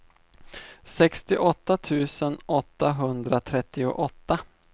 sextioåtta tusen åttahundratrettioåtta